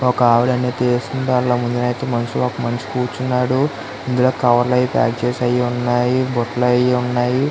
ఒక ఆవిడా అన్ని తెస్తుంది ముందలైతే ఒక మనిషి కూర్చున్నాడు ఇందులో కవర్లు ఐతే ఉన్నాయి బుట్టలు ఐతే ఉన్నాయి .